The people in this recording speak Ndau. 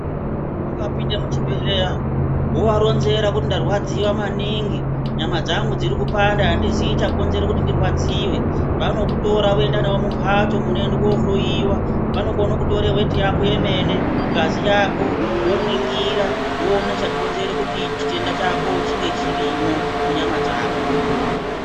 Ukapinde muchibhedhleya wova ronzera kuti ndarwadziwa maningi nyama dzangu dziri kupanda handiziyi chakonzere kuti ndirwadziwe vanokutora voenda newe mumbatso munoende kohloyiwa vanokone kutore weti yako yemene, ngazi yako voningira voona chakonzere kuti chitenda chako chinge chirimo munyama dzako.